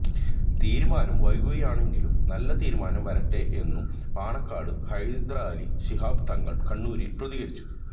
തീരുമാനം വൈകുകയാണെങ്കിലും നല്ല തീരുമാനം വരട്ടെ എന്നും പാണക്കാട് ഹൈദരലി ശിഹാബ് തങ്ങൾ കണ്ണൂരിൽ പ്രതികരിച്ചു